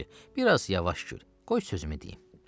Biraz yavaş gül, qoy sözümü deyim.